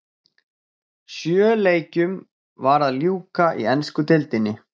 Sjö leikjum var að ljúka í ensku deildinni.